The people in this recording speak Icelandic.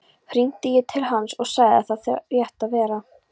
Hringdi ég til hans og sagði hann það rétt vera.